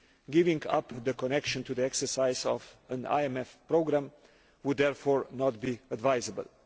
Giving up the connection to the exercise of an IMF programme would therefore not be advisable.